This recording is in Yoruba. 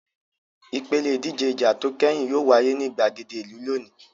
Ìpèlè ìdíje ìjà tó kẹ́yìn yóò wáyé ní ìgbàgede ìlú lónìí.